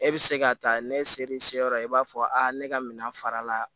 E bɛ se ka taa ne selen se yɔrɔ i b'a fɔ a ne ka minɛn fara la